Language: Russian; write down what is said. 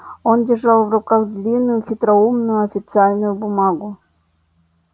он держал в руках длинную хитроумную официальную бумагу